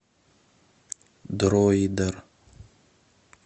дроидер